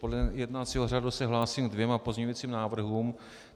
Podle jednacího řádu se hlásím ke dvěma pozměňovacím návrhům.